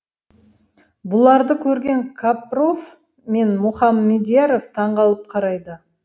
бұларды көрген капров пен мұхамедьяров таңқалып қарайды